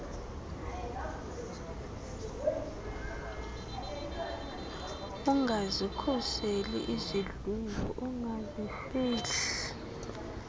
ungazikhuseli izidlwengu ungazifihli